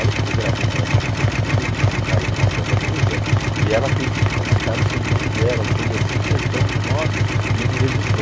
Olha como eu gravei Vanusa, porque eu fiz um comentário do nome da Vanusa e ela fez um comentário sobre o nome dela e sobre a sua impressão do nome e me registrou.